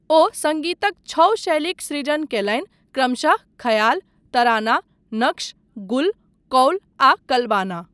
ओ सङ्गीतक छओ शैलीक सृजन कयलनि क्रमशः ख्याल, तराना, नक्श, गुल, कौल आ कलबाना।